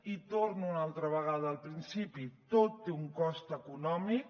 i torno una altra vegada al principi tot té un cost econòmic